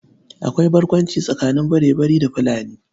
Akwai barkwanci tsakanin Barebari da Fulani.